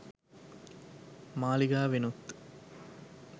මාලිගාවෙනුත්